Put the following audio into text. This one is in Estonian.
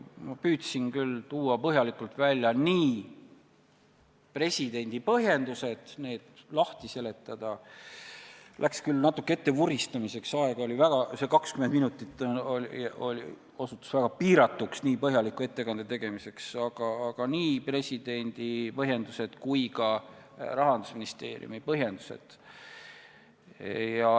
Ma püüdsin küll põhjalikult välja tuua nii presidendi põhjendused ja need lahti seletada – läks küll natuke ettevuristamiseks, aega oli vähe, 20 minutit osutus niivõrd põhjaliku ettekande tegemiseks väga piiratuks – kui ka Rahandusministeeriumi põhjendused.